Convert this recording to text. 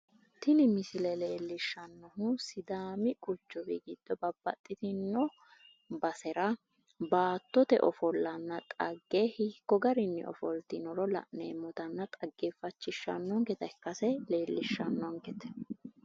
tini misile leellishshannohu sidaami quchumi giddo babbaxitino basera baattote ofollanna xagge hiikko garinni ofoltinoro la'neemmotanna taggeeffachishshannonketa ikkase leellishshannonkete.